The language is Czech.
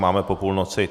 Máme po půlnoci.